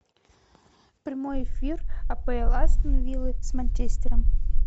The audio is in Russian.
прямой эфир апл астон виллы с манчестером